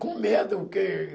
Com medo, que...